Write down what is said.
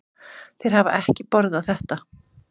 Þeir hafa ekki borðað þetta.